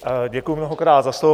Děkuji mnohokrát za slovo.